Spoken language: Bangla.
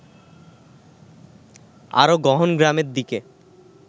আরও গহন গ্রামের দিকে